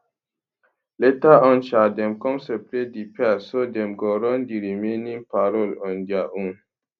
later on sha dem come separate di pairs so dem go run di remaining parol on dia own